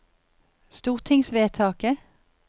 stortingsvedtaket